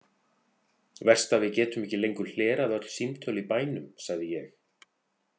Verst að við getum ekki lengur hlerað öll símtöl í bænum, sagði ég.